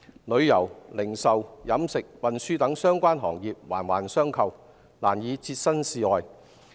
旅遊、零售、飲食、運輸等相關行業環環相扣，難以置身事外。